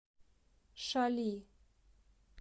шали